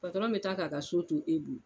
bɛ taa k'a ka so to e bolo